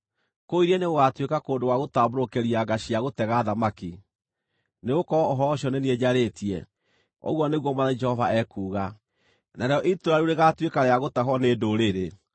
Kũu iria-inĩ gũgaatuĩka kũndũ gwa gũtambũrũkĩria nga cia gũtega thamaki, nĩgũkorwo ũhoro ũcio nĩ niĩ njarĩtie, ũguo nĩguo Mwathani Jehova ekuuga. Narĩo itũũra rĩu rĩgaatuĩka rĩa gũtahwo nĩ ndũrĩrĩ,